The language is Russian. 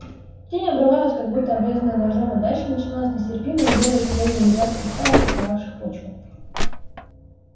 тень обрывалась как будто обрезанная ножом и дальше начиналось нестерпимое белое сияние мириад кристаллов покрывавших почву